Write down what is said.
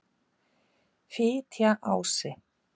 Fitjaási